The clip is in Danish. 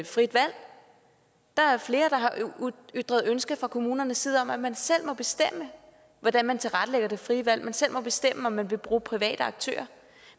frit valg der er flere der har ytret ønske fra kommunernes side om at man selv må bestemme hvordan man tilrettelægger det frie valg at man selv må bestemme om man vil bruge private aktører